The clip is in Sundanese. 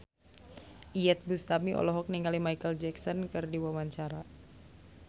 Iyeth Bustami olohok ningali Micheal Jackson keur diwawancara